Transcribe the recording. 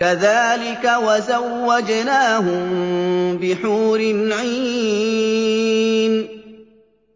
كَذَٰلِكَ وَزَوَّجْنَاهُم بِحُورٍ عِينٍ